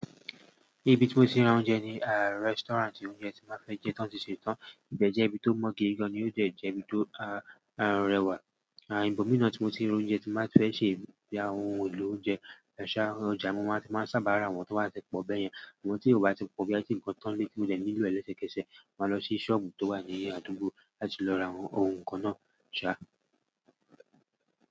Ibi tí mo ti n ra oúnjẹ ni restaurant oúnjẹ tí máa fẹ́ jẹ tán ṣe tán. Ìbéjẹ́ ibi tó mọ́ gidi gan-an ni o dẹ̀ jẹ́ ibi tó rẹwà. À ibòmi náà tí mo ti rí oúnjẹ tí n máa fẹ́ ṣe ya àwọn ohun èlò oúnjẹ. Ẹ̀sà ọjà mo máa ti máa sábà ra àwọn tó wá ti pọ̀ bẹ́yẹn. Àmọ tí ò bá ti pọ̀ bí àti ǹkan tán tí ó jẹ́ ní ìlo ẹ̀lẹ́sẹ̀kẹsẹ̀, máa lọ sí sọ́ọ̀bù tó wà ní Àdúgbo láti lọ ra àwọn ohun kan náà ṣa.